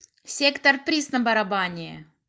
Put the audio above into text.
сектор приз на барабане